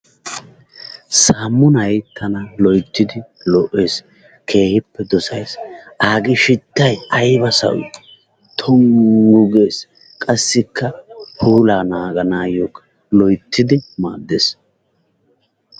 Saamunay tana loyttidi lo'ees, keehippe dosays. Aagee shittay aybba sawii? tonggu gees qasikka puulaa naaganayokka loyttidi maadees.